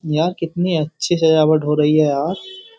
यार कितनी अच्छी सजावट हो रही है यार --